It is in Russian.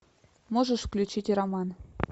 можешь включить роман